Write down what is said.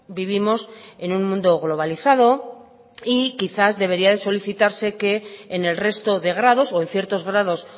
vivimos en un mundo globalizado y quizás debería de solicitarse que en el resto de grados o en ciertos grados